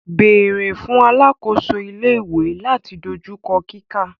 Beere fun alakoso ile-iwe lati dojukọ kika.